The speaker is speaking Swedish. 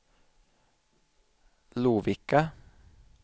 Lovikka